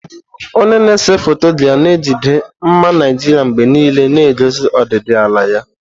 Onye na-ese foto ga na-ejide mma Naijiria mgbe niile, na-egosi ọdịdị ala ya.